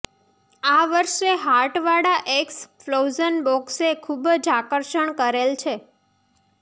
આ વર્ષે હાર્ટ વાળા એકસ પ્લોઝન બોકસે ખુબ જ આકર્ષણ કરેલ છે